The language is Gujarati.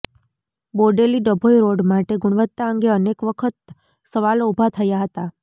બોડેલી ડભોઇ રોડ માટે ગુણવત્તા અંગે અનેક વખત સવાલો ઊભા થયા હતા